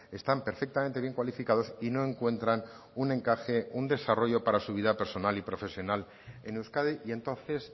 están perfectamente bien cualificados y no encuentran un encaje un desarrollo para su vida personal y profesional en euskadi y entonces